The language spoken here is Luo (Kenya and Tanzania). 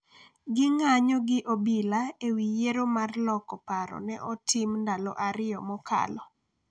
ging’anyo gi obila e wi yiero mar loko paro ne otim ndalo ariyo mokalo,